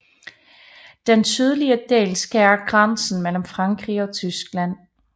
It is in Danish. Dens sydlige del skærer grænsen mellem Frankrig og Tyskland